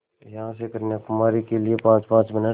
यहाँ से कन्याकुमारी के लिए पाँचपाँच मिनट